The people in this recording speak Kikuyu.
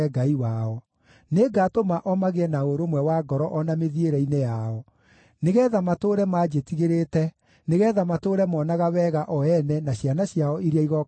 Nĩngatũma o magĩe na ũrũmwe wa ngoro o na mĩthiĩre-inĩ yao, nĩgeetha matũũre manjĩtigĩrĩte nĩgeetha matũũre moonaga wega o ene na ciana ciao iria igooka thuutha wao.